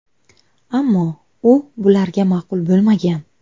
Ammo u bularga ma’qul bo‘lmagan.